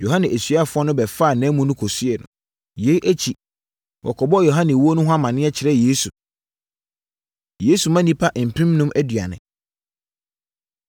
Yohane asuafoɔ no bɛfaa nʼamu no kɔsiee no. Yei akyi, wɔkɔbɔɔ Yohane wuo no ho amaneɛ kyerɛɛ Yesu. Yesu Ma Nnipa Mpemnum Aduane